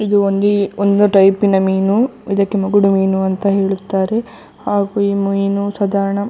ಇದು ಒಂದಿ - ಒಂದು ಟೈಪಿನ ಮೀನು ಇದಕ್ಕೆ ಮುಗುಡು ಮೀನು ಅಂತ ಹೇಳುತ್ತಾರೆ ಹಾಗು ಈ ಮೀನು ಸಾಧಾರಣ -